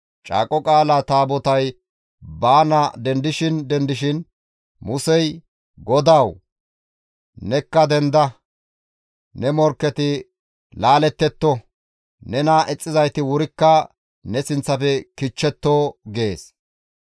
Caaqo Qaalaa Taabotay baana dendishin dendishin Musey, «GODAWU! Nekka denda; ne morkketi laalettetto; nena ixxizayti wurikka ne sinththafe kichchetto!» gees.